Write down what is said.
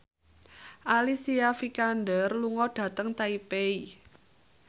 Alicia Vikander lunga dhateng Taipei